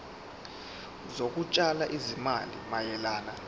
zokutshala izimali mayelana